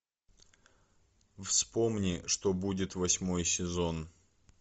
вспомни что будет восьмой сезон